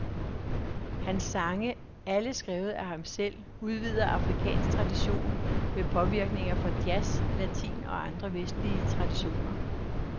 Hans sange, alle skrevet af ham selv, udvider afrikansk tradition med påvirkninger fra jazz, latin og andre vestlige traditioner.